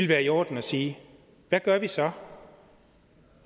være i orden at sige hvad gør vi så